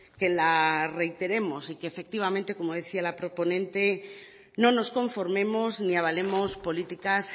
que la reiteremos y que efectivamente como decía la proponente no nos conformemos ni avalemos políticas